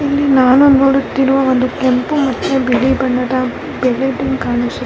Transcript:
ಈಕಡೆ ಒಂದು ದೊಡ್ಡ್ ಮರ ಇದೆ ಮರದ ಕೆಳಗಡೆ --